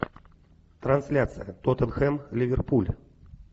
трансляция тоттенхэм ливерпуль